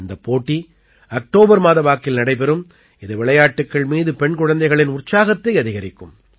இந்தப் போட்டி அக்டோபர் மாத வாக்கில் நடைபெறும் இது விளையாட்டுக்கள் மீது பெண் குழந்தைகளின் உற்சாகத்தை அதிகரிக்கும்